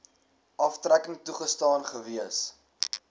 aftrekking toegestaan gewees